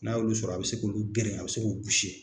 N'a y'olu sɔrɔ a bɛ se k'olu geren a bɛ se k'o .